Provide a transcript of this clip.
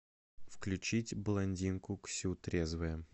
включить блондинку ксю трезвая